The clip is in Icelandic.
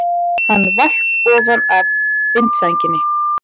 Hann valt ofan af vindsænginni!